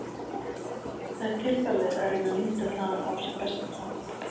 Það er tilvalið að reyna að nýta það á sem bestan hátt.